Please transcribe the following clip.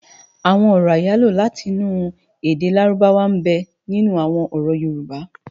Awòn òrò áyáló láti inú èdè lárúbáwá nbè ninú awòn òrò yórùbå